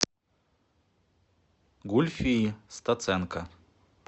гульфии стаценко